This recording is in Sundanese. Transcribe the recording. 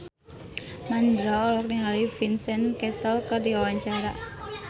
Mandra olohok ningali Vincent Cassel keur diwawancara